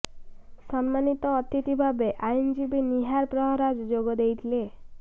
ସମ୍ମାନିତ ଅତିଥି ଭାବେ ଆଇନଜୀବୀ ନିହାର ପ୍ରହରାଜ ଯୋଗ ଦେଇଥିଲେ